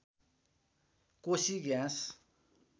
Koshi gas